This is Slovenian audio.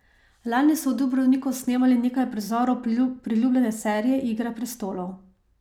Lani so v Dubrovniku snemali nekaj prizorov priljubljene serije Igra prestolov.